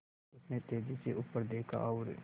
उसने तेज़ी से ऊपर देखा और